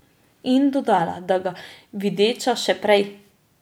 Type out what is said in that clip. In dodala, da ga videča še prej.